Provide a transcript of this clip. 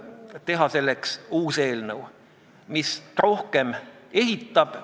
Kui see saaks seaduseks, see kolme kuuega eelnõu, siis raudselt oleksime selles nimekirjas sees.